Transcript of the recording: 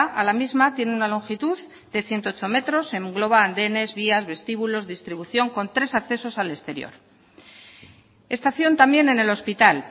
a la misma tiene una longitud de ciento ocho metros engloba andenes vías vestíbulos distribución con tres accesos al exterior estación también en el hospital